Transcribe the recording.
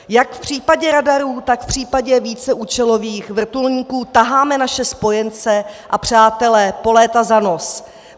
Jak v případě radarů, tak v případě víceúčelových vrtulníků taháme naše spojence a přátele po léta za nos.